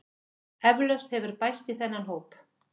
Eflaust hefur bæst í þennan hóp